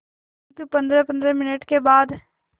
किंतु पंद्रहपंद्रह मिनट के बाद